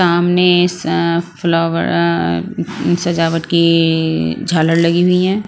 सामने इस अ फ्लावर अ सजावट कीीी झालर लगी हुई है।